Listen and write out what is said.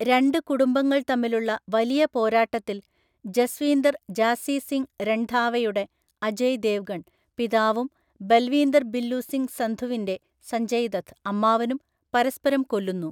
രണ്ട് കുടുംബങ്ങൾ തമ്മിലുള്ള വലിയ പോരാട്ടത്തിൽ, ജസ്വീന്ദർ ജാസ്സി സിംഗ് രൺധാവയുടെ (അജയ് ദേവ്ഗൺ) പിതാവും ബൽവീന്ദർ ബില്ലു സിംഗ് സന്ധുവിന്റെ (സഞ്ജയ് ദത്ത്) അമ്മാവനും പരസ്പരം കൊല്ലുന്നു.